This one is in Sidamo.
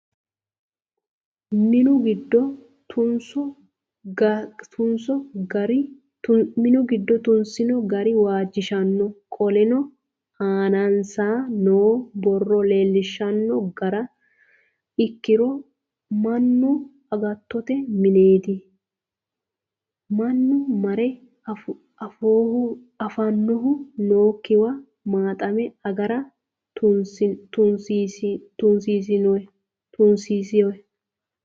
Minu giddoodo tunsino gari wasjjishanno. Qolene aanasi noo borro leellishanno gara ikkiro minu agattote mineeti. Mannu mare afaahu nookkiwa maxaame agara tunsiinsoyi.